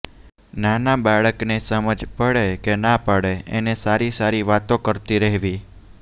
નાના બાળકને સમજ પડે કે ના પડે એને સારી સારી વાતો કરતી રહેવી